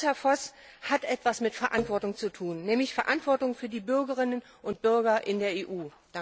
Das, Herr Voss, hat etwas mit Verantwortung zu tun, nämlich Verantwortung für die Bürgerinnen und Bürger in der EU.